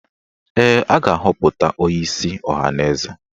Ee, a ga-aghọpụta onyeisi ọhaneze